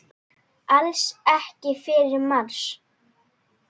Alls ekki fyrsta mars!